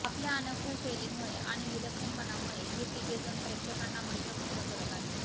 आपल्या अनोख्या शैलीमुळे आणि विलक्षणपणामुळे हे तिघे जण प्रेक्षकांना मंत्रमुग्ध करत आहेत